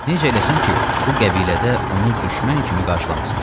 Necə eləsin ki, bu qəbilədə onu düşmən kimi qarşılamasınlar?